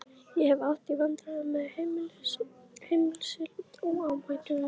Ég hef átt í vandræðum með meiðsli, en áhætta?